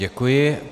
Děkuji.